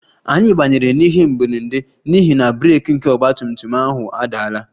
Anyị banyere n'ihe mberede n'ihi na breeki nke ọgba tum tum ahụ adaala